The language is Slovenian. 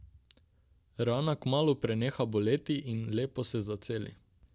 Rana kmalu preneha boleti in lepo se zaceli.